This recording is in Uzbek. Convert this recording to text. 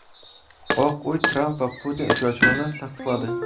Oq uy Tramp va Putin uchrashuvini tasdiqladi.